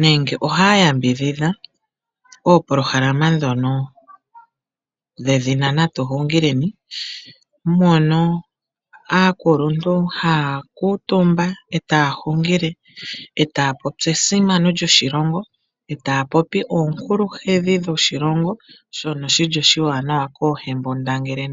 nenge ohaya yambidhidha opolohalama ndhono dhedhina Natu Xungileni. Mono aakuluntu haya kuutumba e taya hungile e taya popi esimano lyoshilongo e taya popi oonkuluhedhi dhoshilongo shono shi li oshiwanawa koohembundangele.